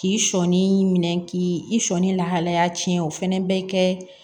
K'i sɔɔni minɛ k'i i sɔɔni lahalaya cɛn o fana bɛ kɛ